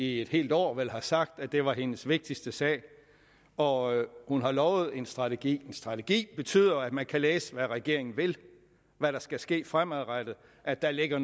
i et helt år har sagt at det var hendes vigtigste sag og hun har lovet at en strategi en strategi betyder at man kan læse hvad regeringen vil hvad der skal ske fremadrettet at der ligger